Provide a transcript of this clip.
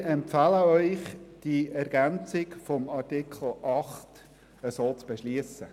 Wir empfehlen Ihnen, die Ergänzung von Artikel 8 so zu beschliessen.